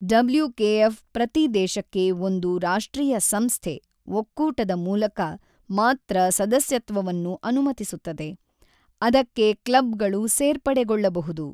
WKF ಪ್ರತಿ ದೇಶಕ್ಕೆ ಒಂದು ರಾಷ್ಟ್ರೀಯ ಸಂಸ್ಥೆ/ಒಕ್ಕೂಟದ ಮೂಲಕ ಮಾತ್ರ ಸದಸ್ಯತ್ವವನ್ನು ಅನುಮತಿಸುತ್ತದೆ, ಅದಕ್ಕೆ ಕ್ಲಬ್‌ಗಳು ಸೇರ್ಪಡೆಗೊಳ್ಳಬಹುದು.